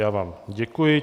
Já vám děkuji.